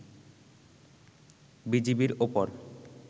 বিজিবির ওপর